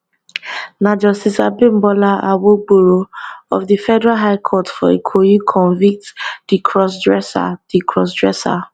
na justice abimbola awogboro of di federal high court for ikoyi convict di crossdresser di crossdresser